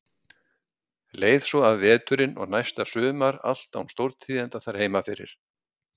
Leið svo af veturinn og næsta sumar allt án stórtíðinda þar heima fyrir.